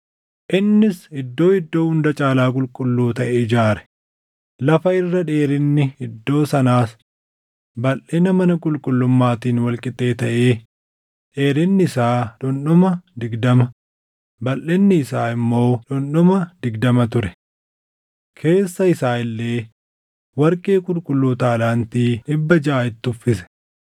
Innis Iddoo Iddoo Hunda Caalaa Qulqulluu taʼe ijaare; lafa irra dheerinni iddoo sanaas balʼina mana qulqullummaatiin wal qixxee taʼee dheerinni isaa dhundhuma digdama, balʼinni isaa immoo dhundhuma digdama ture. Keessa isaa illee warqee qulqulluu taalaantii + 3:8 Taalaantiin tokko kiiloo giraamii 34. dhibba jaʼa itti uffise.